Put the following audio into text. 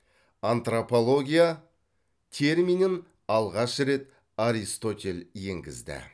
антропология терминін алғаш рет аристотель енгізді